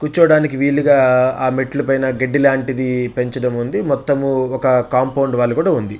కూర్చోడానికి వీలుగా ఆ మెట్లు పైన గడ్డి లాంటిది పెంచడం ఉంది మొత్తము ఒక కాంపౌండ్ వాల్ కూడా ఉంది.